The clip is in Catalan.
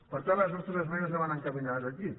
per tant les nostres esmenes anaven encaminades aquí